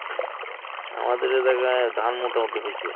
আমাদের এই জায়গায় ধান মোটামুটি হয়ছে